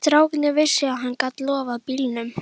Strákarnir vissu að hann gat loftað bílum.